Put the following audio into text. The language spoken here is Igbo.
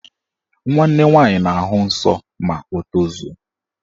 Nwanne nwaanyị na-ahụ nsọ ma o tozuo